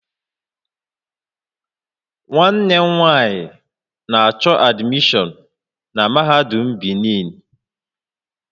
Nwanne m nwanyị na-achọ admishọn na Mahadum Benin